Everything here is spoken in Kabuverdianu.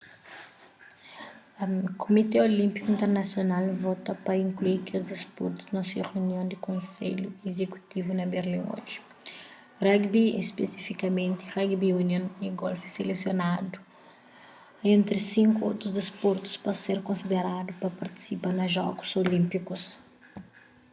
kumité olínpiku internasional vota pa inklui kes disportus na se reunion di konselhu izekutivu na berlin oji rugby spesifikamenti rugby union y golfi selesioanadu entri sinku otus disportus pa ser konsideradu pa partisipa na jogus olínpikus